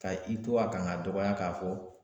Ka i to a kan k'a dɔgɔya k'a fɔ